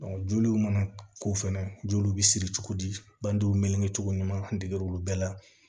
joliw mana k'o fɛnɛ joliw bisiri cogo di banduguw meleke cogo ɲuman an deger'olu bɛɛ la